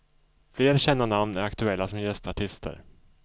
Fler kända namn är aktuella som gästartister.